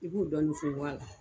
I b'u dɔɔnin funfun a la